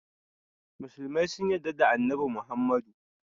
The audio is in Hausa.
musulmai sun yadda da Annabi Muhammadu.